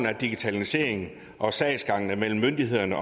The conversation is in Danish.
at digitaliseringen af sagsgangen mellem myndighederne